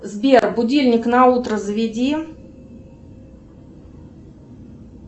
сбер будильник на утро заведи